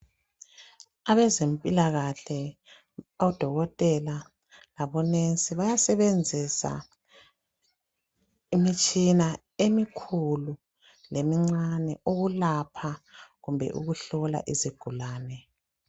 Abezempilakahle odokotela labo nurse bayasebenzisa imitshina emikhulu lemincane ukulapha kumbe ukuhlola izigulane.